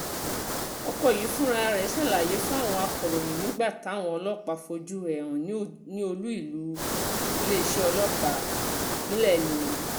ọkọ̀ yìí fúnra ẹ̀ ṣàlàyé fáwọn akòròyìn nígbà táwọn ọlọ́pàá fojú ẹ̀ hàn ní olú iléeṣẹ́ ọlọ́pàá ìpínlẹ̀ mìnnà